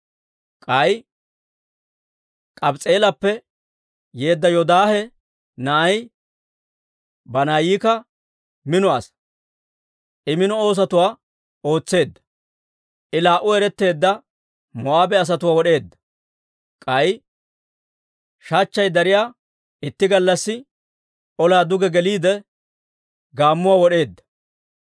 K'ay K'abs's'i'eelappe yeedda Yoodaahe na'ay Banaayikka mino asaa. I mino oosatuwaa ootseedda. I laa"u eretteedda Moo'aabe asatuwaa wod'eedda. K'ay shachchay dariyaa itti gallassi ollaa duge geliide, gaammuwaa wod'eedda.